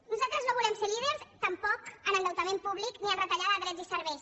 nosaltres no volem ser líders tampoc en endeutament públic ni en retallada de drets i serveis